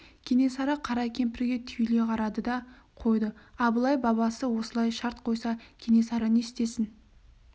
кенесары қара кемпірге түйіле қарады да қойды абылай бабасы осылай шарт қойса кенесары не істесін